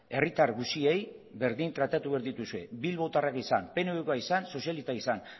herritar guztiei berdin tratatu behar dituzue bilbotarrak izan pnvkoa izan sozialistak izan